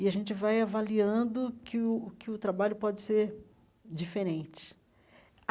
E a gente vai avaliando que o que o trabalho pode ser diferente.